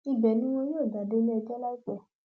ibẹ ni wọn ní yóò gbà déléẹjọ láìpẹ